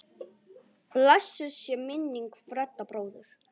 Blessuð sé minning Fredda bróður.